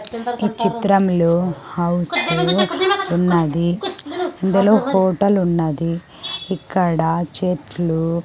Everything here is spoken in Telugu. ఈ చిత్రంలో హౌసు ఉన్నది ఇందులో హోటల్ ఉన్నది ఇక్కడ చెట్లు --